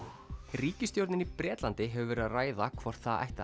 ríkisstjórnin í Bretlandi hefur verið að ræða hvort það ætti að